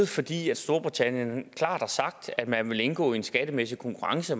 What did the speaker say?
fordi storbritannien klart har sagt at man vil indgå en skattemæssig konkurrence